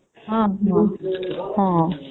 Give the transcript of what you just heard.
ହୁଁ ହଁ ହଁ